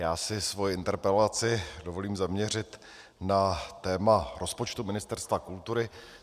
Já si svoji interpelaci dovolím zaměřit na téma rozpočtu Ministerstva kultury.